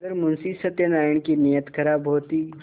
अगर मुंशी सत्यनाराण की नीयत खराब होती